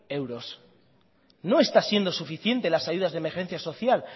euros no está siendo suficientes las ayudas de emergencia social